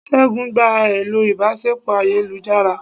segun gbá elò ìbáṣepọ ayélujará